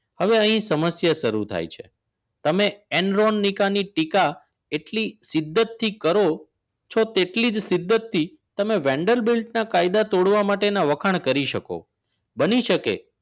હવે અહીં સમસ્યા શરૂ થાય છે તમે એન્ડ્રોઈલ નીકાની ટીકા એટલી સીધ્ધી કરો છો તેટલી સિદ્ધિ તમે વેન્ડર બેલ્ટના કાયદા તોડવા માટેના વખાણ કરી શકો બની શકે